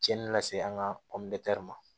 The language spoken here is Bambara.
Cɛnnin lase an ka ma